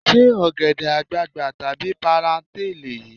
Ṣé ọ̀gẹ̀dẹ̀ àgbagbà tàbí páráǹtà lèyí?